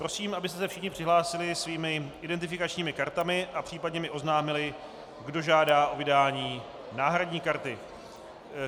Prosím, abyste se všichni přihlásili svými identifikačními kartami a případně mi oznámili, kdo žádá o vydání náhradní karty.